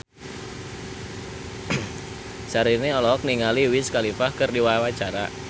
Syahrini olohok ningali Wiz Khalifa keur diwawancara